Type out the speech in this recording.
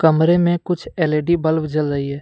कमरे में कुछ एल_ई_डी बल्ब जल रही है।